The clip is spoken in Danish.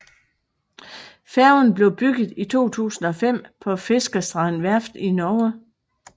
Færgen blev bygget i 2005 på Fiskerstrand Verft i Norge